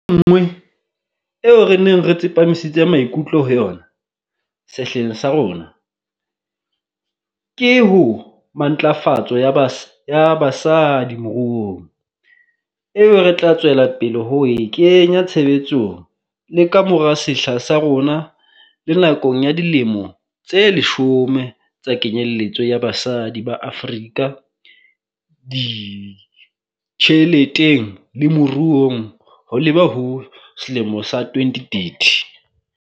Enngwe eo re neng re tsepamisitse maikutlo ho yona sehleng sa rona ke ho matlafatso ya ba ya basadi moruong, eo re tla tswela pele ho e kenya tshebetsong le ka mora sehla sa rona le nakong ya Dilemo tse Leshome tsa Kenyeletso ya Basadi ba Afrika Ditjheleteng le Moruong ho leba ho 2030.